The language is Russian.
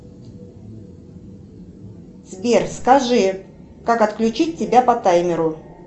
сбер скажи как отключить тебя по таймеру